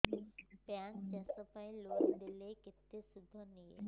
bank ଚାଷ ପାଇଁ loan ଦେଲେ କେତେ ସୁଧ ନିଏ